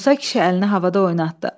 Musa kişi əlini havada oynatdı.